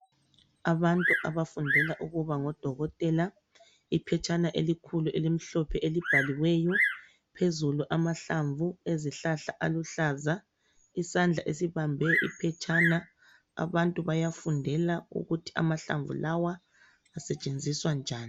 Abantu abafundela ukuba ngodokotela, iphetshana elikhulu elimhlophe elibhaliweyo, phezulu amahlamvu ezihlahla aluhlaza. Isandla esibambe iphetshana, abantu bayafundela ukuthi amahlamvu lawa asetshenziswa njani.